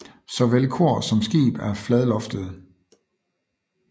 Såvel kor som skib er fladloftede